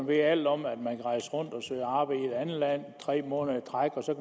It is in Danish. ved alt om at man kan rejse rundt og søge arbejde i et andet land tre måneder i træk og så